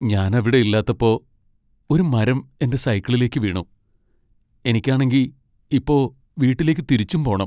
ഞാൻ അവിടെ ഇല്ലാത്തപ്പോ ഒരു മരം എന്റെ സൈക്കിളിലേക്ക് വീണു. എനിക്കാണെങ്കി, ഇപ്പോ വീട്ടിലേക്ക് തിരിച്ചും പോണം .